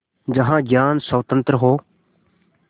जहाँ ज्ञान स्वतन्त्र हो